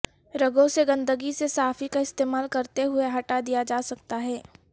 رگوں سے گندگی سے صافی کا استعمال کرتے ہوئے ہٹا دیا جاسکتا ہے